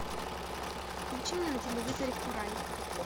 включи мне на телевизоре курай